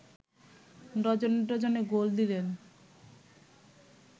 ডজনে ডজনে গোল দিলেও